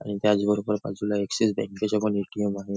आणि त्याच बरोबर बाजूला ॲक्सिस बँकेचे पण ए.टी.एम. आहे.